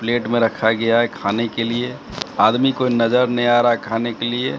Plate में रखा गया है खाने के लिए आदमी को नजर नहीं आ रहा है खाने के लिए।